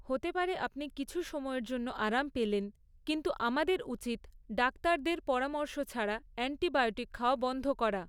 হতে পারে আপনি কিছু সময়ের জন্য আরাম পেলেন, কিন্তু আমাদের উচিত ডাক্তারদের পরামর্শ ছাড়া অ্যান্টিবায়োটিক খাওয়া বন্ধ করা।